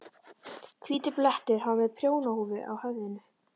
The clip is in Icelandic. Hvítur blettur. hann var með prjónahúfu á höfðinu.